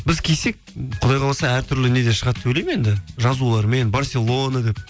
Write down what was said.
біз кисек құдай қаласа әртүрлі неде шығады деп ойлаймын енді жазулармен барселона деп